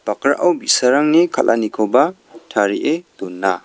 bakrao bi·sarangni kal·anikoba tarie dona.